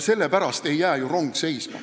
Sellepärast ei jää ju rong seisma.